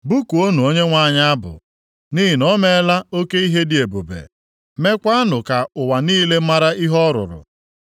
Bụkuonụ Onyenwe anyị abụ, nʼihi na o meela oke ihe dị ebube. Meekwanụ ka ụwa niile mara ihe ọ rụrụ.